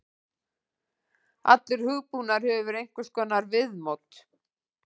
Allur hugbúnaður hefur einhvers konar viðmót.